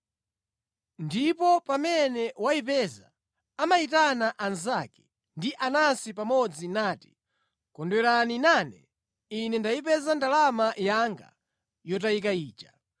Ndipo pamene wayipeza, amayitana anzake, ndi anansi pamodzi nati, ‘Kondwerani nane; ine ndayipeza ndalama yanga yotayika ija.’